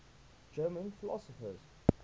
german philosophers